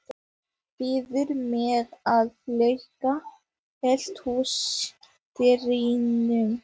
Biður mig að loka eldhúsdyrunum.